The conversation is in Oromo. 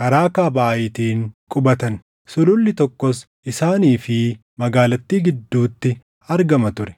karaa kaaba Aayitiin qubatan. Sululli tokkos isaanii fi magaalattii gidduutti argama ture.